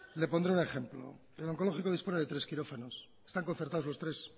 le pondré un ejemplo el oncológico dispone de tres quirófanos están concertados los tres